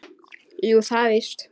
Jú, það er víst.